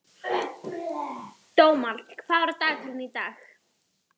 Dómald, hvað er á dagatalinu í dag?